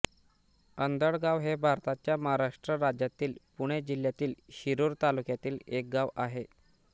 आंधळगाव हे भारताच्या महाराष्ट्र राज्यातील पुणे जिल्ह्यातील शिरूर तालुक्यातील एक गाव आहे